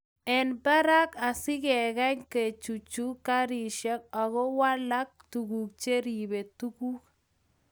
eng barak asigegany kechuchuch karishek ago walak tuguk cheribe tuguk